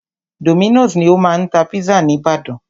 Dominos ni o máa ń tá pizza ní ìbàdàn.